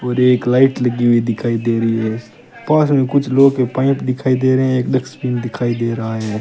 और एक लाइट लगी हुई दिखाई दे रही है पास में कुछ लोहे के पाइप दिखाई दे रहे है एक डस्टबिन दिखाई दे रहा है।